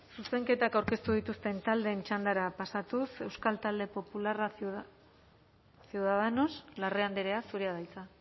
zuzenketak aurkeztu dituzten taldeen txandara pasatuz euskal talde popularra ciudadanos larrea andrea zurea da hitza